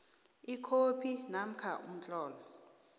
ikhophi namkha umtlolo